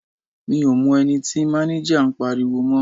Mi ò mọ ẹni tí máníjà ń pariwo mọ́.